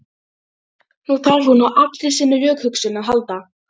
Nú þarf hún á allri sinni rökhugsun að halda.